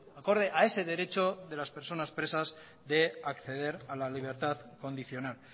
acorde a ese derecho de las personas presas de acceder a la libertad condicional